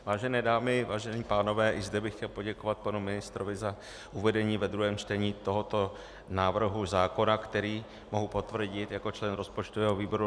Vážené dámy, vážení pánové, i zde bych chtěl poděkovat panu ministrovi za uvedení ve druhém čtení tohoto návrhu zákona, který mohu potvrdit jako člen rozpočtového výboru.